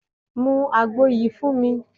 Mú àgbo yìí fún mi